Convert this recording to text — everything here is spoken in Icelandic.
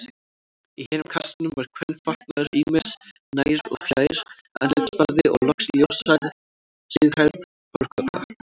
Í hinum kassanum var kvenfatnaður ýmis, nær- og fjær-, andlitsfarði og loks ljóshærð, síðhærð hárkolla.